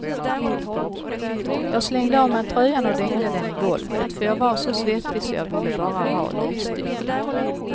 Jag slängde av mig tröjan och dängde den i golvet, för jag var så svettig så jag ville bara ha livstycke.